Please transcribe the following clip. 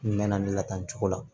N mɛn na n latanu cogo la